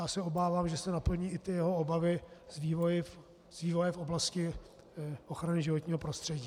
Já se obávám, že se naplní i ty jeho obavy z vývoje v oblasti ochrany životního prostředí.